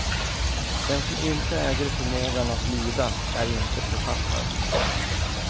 Den som inte äger förmågan att lida är inte författare.